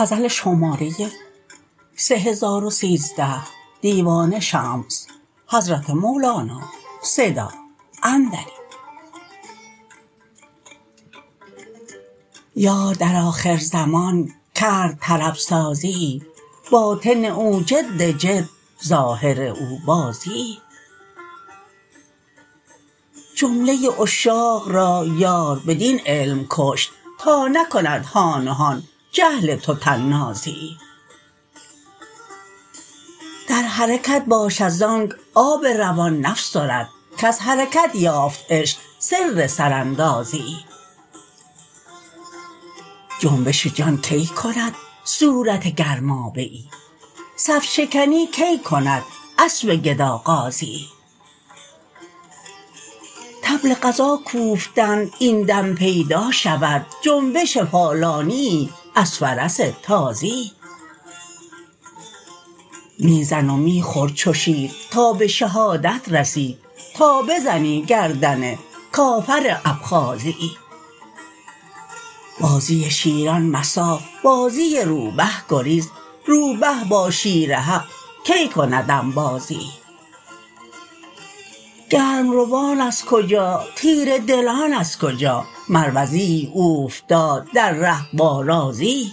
یار در آخرزمان کرد طرب سازیی باطن او جد جد ظاهر او بازیی جمله عشاق را یار بدین علم کشت تا نکند هان و هان جهل تو طنازیی در حرکت باش ازانک آب روان نفسرد کز حرکت یافت عشق سر سراندازیی جنبش جان کی کند صورت گرمابه ای صف شکنی کی کند اسب گدا غازیی طبل غزا کوفتند این دم پیدا شود جنبش پالانیی از فرس تازیی می زن و می خور چو شیر تا به شهادت رسی تا بزنی گردن کافر ابخازیی بازی شیران مصاف بازی روبه گریز روبه با شیر حق کی کند انبازیی گرم روان از کجا تیره دلان از کجا مروزیی اوفتاد در ره با رازیی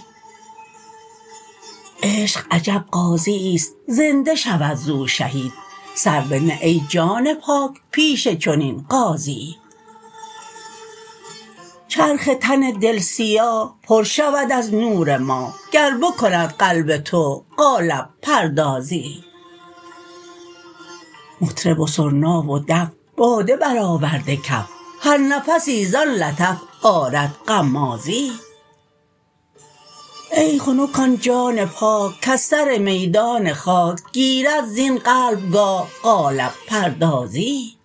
عشق عجب غازییست زنده شود زو شهید سر بنه ای جان پاک پیش چنین غازیی چرخ تن دل سیاه پر شود از نور ماه گر بکند قلب تو قالب پردازیی مطرب و سرنا و دف باده برآورده کف هر نفسی زان لطف آرد غمازیی ای خنک آن جان پاک کز سر میدان خاک گیرد زین قلبگاه قالب پردازیی